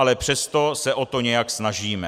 Ale přesto se o to nějak snažíme.